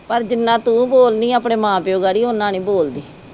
ਪਰ ਜਿੰਨਾ ਤੂੰ ਬੋਲਦੀ ਆਪਣੇ ਮਾਂ ਪਿਓ ਗਾੜੀ ਉਹਨਾਂ ਨਹੀਂ ਬੋਲਦੀ